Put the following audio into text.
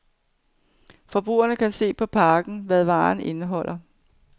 Forbrugeren kan se på pakken, hvad varen indeholder.